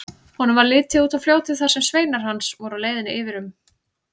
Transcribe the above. Honum varð litið út á fljótið þar sem sveinar hans voru á leiðinni yfir um.